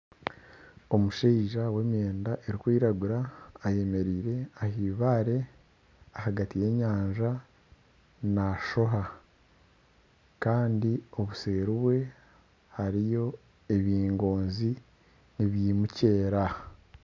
Omushaija w'emyenda erikwiragura ayemereire aha eibare ahagati y'enyanja nashoha kandi obuseeri bwe hariyo ebingoonzi nibimukirira.